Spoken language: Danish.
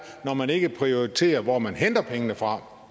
når man ikke prioriterer hvor man henter pengene fra